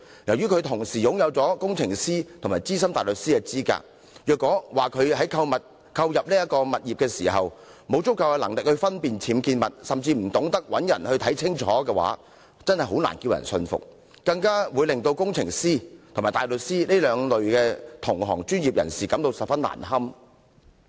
由於她同時擁有工程師及資深大律師的資格，所以如果說她在購入物業時沒有足夠能力分辨僭建物，甚至不懂找人查證，實在叫人難以信服，亦令工程師及大律師這兩類專業人士感到十分難堪。